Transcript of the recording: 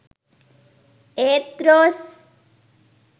ඒත් රෝස්